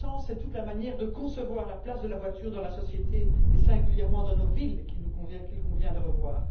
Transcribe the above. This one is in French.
En ce sens, c'est toute la manière de concevoir la place de la voiture dans la société et, singulièrement, dans nos villes qu'il convient de revoir.